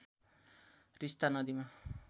तिस्‍ता नदीमा